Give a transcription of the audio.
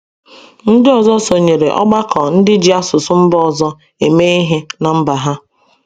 Ndị ọzọ sonyeere ọgbakọ ndị ji asụsụ mba ọzọ eme ihe ná mba ha.